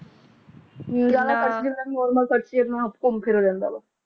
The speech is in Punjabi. ਆ ਰਿਹਾ ਹੈ ਕੈਨਮੋਰ ਪਕੜ ਕੇ ਕਾਬੂ ਕਰਨ ਦਾ ਭਰਮ ਪਾਲ ਲਿਆ